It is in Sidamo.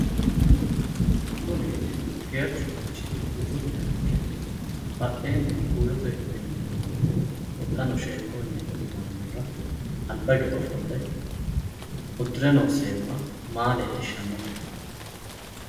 Kuni geerchu manchi budunniha ikke badheenni buuyyote minnoonni mini huxxano sheekkunni huxxinoonnihura alba hige ofolle uddire noo seemma maa leellishshannote?